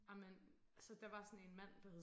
Ej men så der var sådan en mand der hed